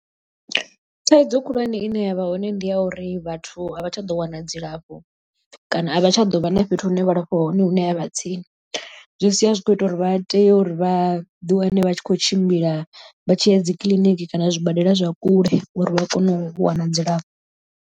Thaidzo khulwane ine yavha hone ndi ya uri vhathu a vha tsha ḓo wana dzilafho kana a vha tsha ḓo vha na fhethu hune vha lafhiwa hone hune ha vha tsini zwi sia zwi kho ita uri vha tea uri vhaḓi wane vha tshi khou tshimbila vha tshiya dzi kiḽiniki kana zwibadela zwa kule uri vha kone u wana dzilafho.